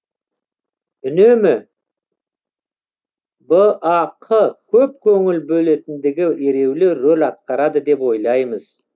үнемі бақ көп көңіл бөлетіндігі ереулі рөл атқарады деп ойлаймыз